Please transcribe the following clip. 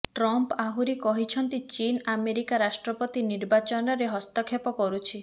Trump ଆହୁରି କହିଛନ୍ତି ଚୀନ ଆମେରିକା ରାଷ୍ଟ୍ରପତି ନିର୍ବାଚନରେ ହସ୍ତକ୍ଷେପ କରୁଛି